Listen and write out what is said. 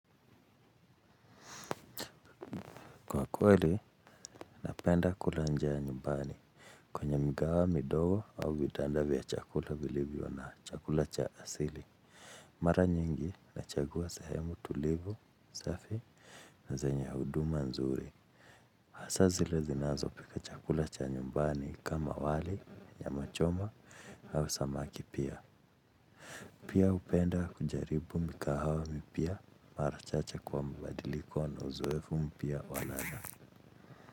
Kwa kweli, napenda kula nje ya nyumbani. Kwenye migahawa midogo au vibanda vya chakula vilivyo na chakula cha asili. Mara nyingi nachagua sehemu tulivu, safi na zenye huduma nzuri. Hasa zile zinazopika chakula cha nyumbani kama wali nyama choma au samaki pia. Pia hupenda kujaribu mikahawa mipya mara chache kwa mabadiliko na uzoefu mpya wa ladha.